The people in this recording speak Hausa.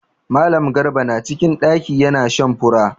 Mallam garba na cikin ɗaki ya na shan fura.